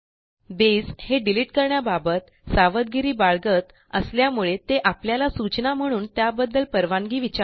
base हे delete करण्याबाबत सावधगिरी बाळगत असल्यामुळे ते आपल्याला सूचना म्हणून त्याबद्दल परवानगी विचारते